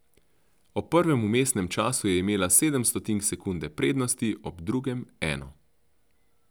Ob prvem vmesnem času je imela sedem stotink sekunde prednosti, ob drugem eno.